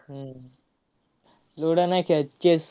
हम्म ludo नाय खेळत. chess